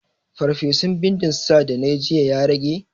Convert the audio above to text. Farfesun bindin sa da nayi jiya ya rage?